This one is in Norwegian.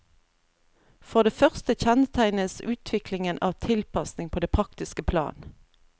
For det første kjennetegnes utviklingen av tilpasning på det praktiske plan.